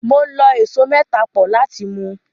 Mo lọ ẹso mẹ́ta pọ̀ láti mu.